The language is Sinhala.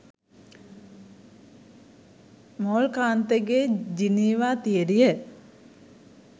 මෝල් කාන්තගේ ජිනීවා තියරිය.